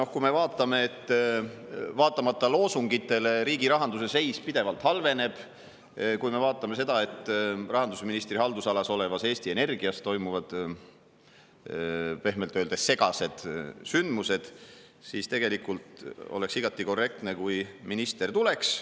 Ja kui me vaatame seda, et loosungitele vaatamata riigirahanduse seis pidevalt halveneb, kui me vaatame seda, et rahandusministri haldusalas olevas Eesti Energias toimuvad pehmelt öeldes segased sündmused, siis tegelikult oleks igati korrektne, kui minister tuleks.